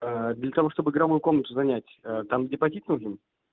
для того чтобы игровую комнату занять там депозит нужен